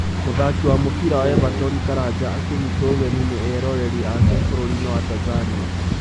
Mũthaki wa mũbira wa Everton Karanja akĩnyitwo ũgeni nĩ eroreri ake bũrũriinĩ wa Tanzania